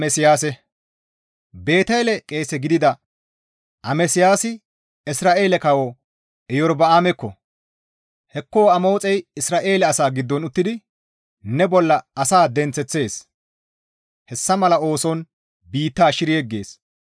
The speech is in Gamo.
Beetele qeese gidida Amasiyaasi Isra7eele kawo Iyorba7aamekko, «Hekko Amoxey Isra7eele asaa giddon uttidi ne bolla asaa denththeththees; hessa mala ooson biitta shiri yeggees.